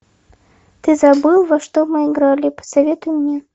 ты забыл во что мы играли посоветуй мне